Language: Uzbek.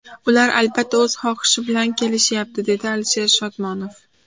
Ular, albatta, o‘z xohishi bilan kelishyapti”, dedi Alisher Shodmonov.